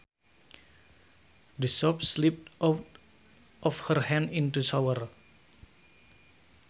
The soap slipped out of her hand in the shower